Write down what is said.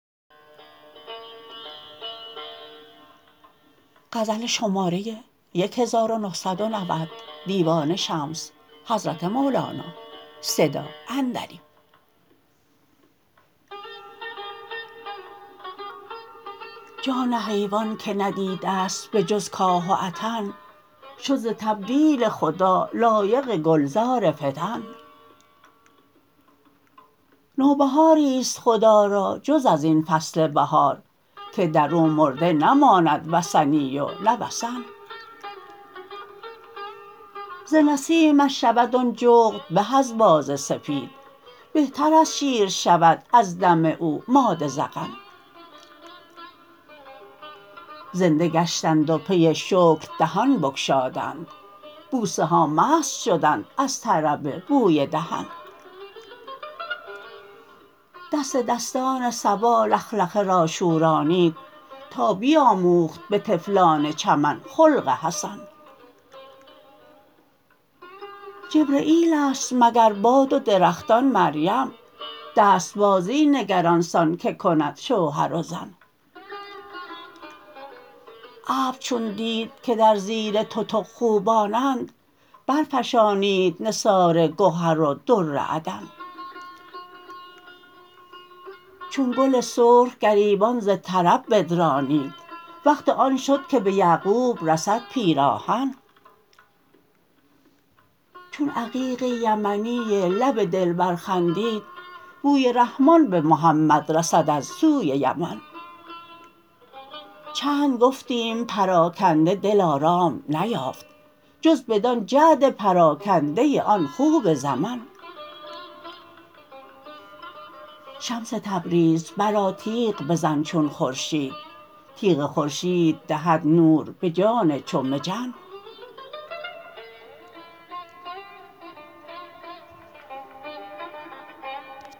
جان حیوان که ندیده است به جز کاه و عطن شد ز تبدیل خدا لایق گلزار فطن نوبهاری است خدا را جز از این فصل بهار که در او مرده نماند وثنی و نه وثن ز نسیمش شود آن جغد به از باز سپید بهتر از شیر شود از دم او ماده زغن زنده گشتند و پی شکر دهان بگشادند بوسه ها مست شدند از طرب بوی دهن دست دستان صبا لخلخه را شورانید تا بیاموخت به طفلان چمن خلق حسن جبرییل است مگر باد و درختان مریم دست بازی نگر آن سان که کند شوهر و زن ابر چون دید که در زیر تتق خوبانند برفشانید نثار گهر و در عدن چون گل سرخ گریبان ز طرب بدرانید وقت آن شد که به یعقوب رسد پیراهن چون عقیق یمنی لب دلبر خندید بوی رحمان به محمد رسد از سوی یمن چند گفتیم پراکنده دل آرام نیافت جز بدان جعد پراکنده آن خوب زمن شمس تبریز برآ تیغ بزن چون خورشید تیغ خورشید دهد نور به جان چو مجن